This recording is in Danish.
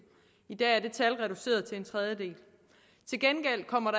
i dag er det tal reduceret til en tredjedel til gengæld kommer